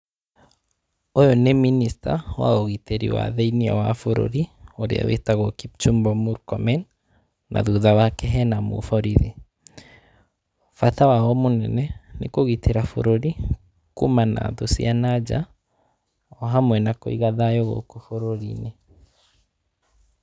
Ũyũ nĩ minista wa ũgitĩri wa thĩinĩ wa bũrũri ũrĩa wĩtagwo Kimchumba Murkomen, na thutha wake hena mũborithi, bata wao mũnene nĩ kũgitĩra bũrũri kumana na thũ cia na nja ohamwe na kũiga thayũ gũkũ bũrũriinĩ.